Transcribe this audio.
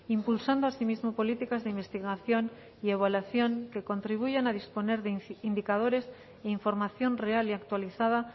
impulsando asimismo políticas de investigación y evaluación que contribuyan a disponer de indicadores e información real y actualizada